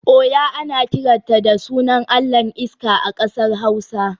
Oya ana kiranta da sunan allahn iska a kasar hausa